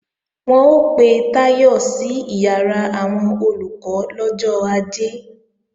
Wọ́n ó pe Táyọ̀ sí ìyàrá àwọn Olùkọ́ lọ́jọ́ Ajé